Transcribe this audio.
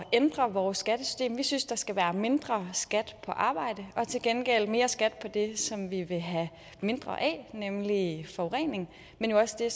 ændre vores skattesystem vi synes der skal være mindre skat på arbejde og til gengæld mere skat på det som vi vil have mindre af nemlig forurening men jo også det